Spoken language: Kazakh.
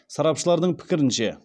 сарапшылардың пікірінше